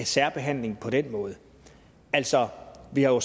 særbehandling på den måde altså vi har